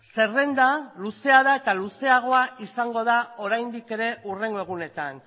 zerrenda luzea da eta luzeagoa izango da oraindik ere hurrengo egunetan